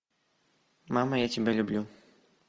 мама я тебя люблю